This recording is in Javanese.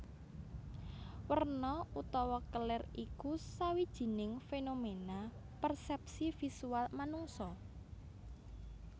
Werna utawa kelir iku sawijining fénoména persèpsi visual manungsa